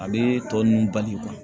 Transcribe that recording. A bɛ tɔ nun bali